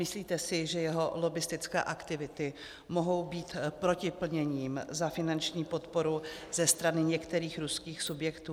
Myslíte si, že jeho lobbistické aktivity mohou být protiplněním za finanční podporu ze strany některých ruských subjektů?